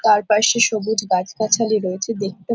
চারপাশে সবুজ গাছগাছালি রয়েছে দেখতে --